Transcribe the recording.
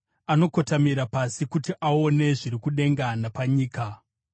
anokotamira pasi kuti aone zviri kudenga napanyika?